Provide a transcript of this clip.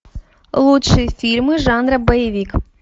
лучшие фильмы жанра боевик